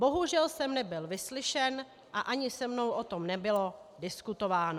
Bohužel jsem nebyl vyslyšen a ani se mnou o tom nebylo diskutováno.